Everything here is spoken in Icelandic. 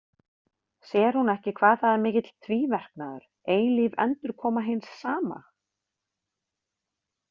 Sér hún ekki hvað það er mikill tvíverknaður, eilíf endurkoma hins sama?